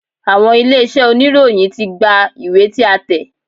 Àwọn ilé-iṣẹ́ oníròyìn ti gba ìwé tí a tẹ̀.